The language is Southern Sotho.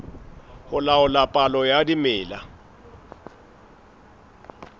ho laola palo ya dimela